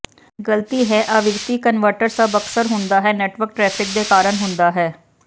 ਗਲਤੀ ਹੈ ਆਵਿਰਤੀ ਕਨਵਰਟਰ ਸਭ ਅਕਸਰ ਹੁੰਦਾ ਹੈ ਨੈੱਟਵਰਕ ਟਰੈਫਿਕ ਦੇ ਕਾਰਨ ਹੁੰਦਾ ਹੈ